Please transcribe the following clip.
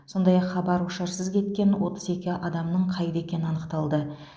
сондай ақ хабар ошарсыз кеткен отыз еке адамның қайда екені анықталды